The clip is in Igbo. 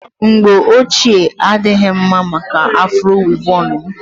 mbọ ochie a adịghị mma maka afro wịvọn m